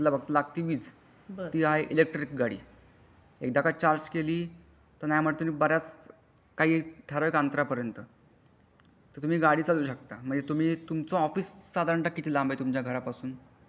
त्याला लागती काय वीज ती आहे इलेक्ट्रिक गाडी एकदा काय चार्जे केली ता नाय म्हण्टलं तरी काही ठराविक अंतरा पर्यंत तर तुम्ही गाडी चालवू शकता म्हणजे तुम्ही तुमचा ऑफिस किती लांब आहे साधारणता तुमचा घरा पासून.